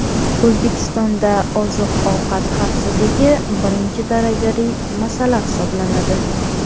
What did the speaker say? O‘zbekistonda oziq-ovqat xavfsizligi birinchi darajali masala hisoblanadi.